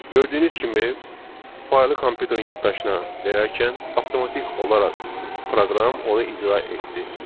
Gördüyünüz kimi, faylı kompüterin yaddaşına verərkən, avtomatik olaraq proqram onu icra etdi.